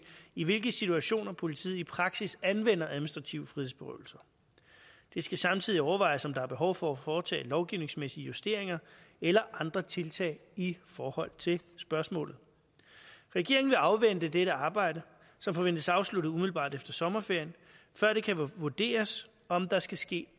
i hvilke situationer politiet i praksis anvender administrative frihedsberøvelser det skal samtidig overvejes om der er behov for at foretage lovgivningsmæssige justeringer eller andre tiltag i forhold til spørgsmålet regeringen vil afvente dette arbejde som forventes afsluttet umiddelbart efter sommerferien før det kan vurderes om der skal ske